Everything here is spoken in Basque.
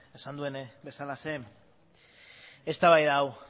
esan duen bezalaxe eztabaida hau